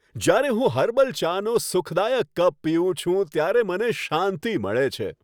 જ્યારે હું હર્બલ ચાનો સુખદાયક કપ પીઉં છું, ત્યારે મને શાંતિ મળે છે.